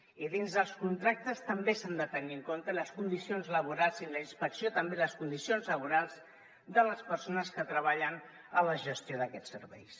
i dins dels contractes també s’han de tenir en compte les condicions laborals i en la inspecció també de les persones que treballen en la gestió d’aquests serveis